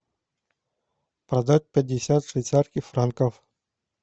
продать пятьдесят швейцарских франков